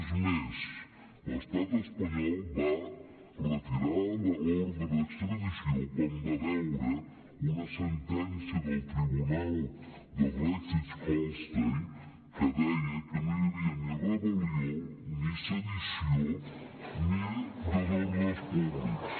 és més l’estat espanyol va retirar l’ordre d’extradició quan va veure una sentència del tribunal de schleswig holstein que deia que no hi havia ni rebel·lió ni sedició ni desordres públics